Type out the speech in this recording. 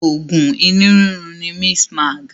Oògùn inú rírun ni Mistmag